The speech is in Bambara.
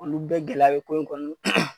Olu bɛɛ gɛlɛya bi ko in kɔnɔna